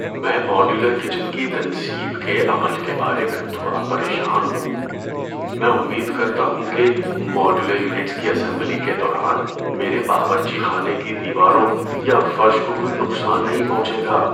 میں modular kitchen کی تنصیب کے عمل کے بارے میں تھوڑا پریشان ہوں۔ میں امید کرتا ہوں کہ ماڈیولر یونٹس کی اسمبلی کے دوران میرے باورچی خانے کی دیواروں یا فرش کو کوئی نقصان نہیں پہنچے گا۔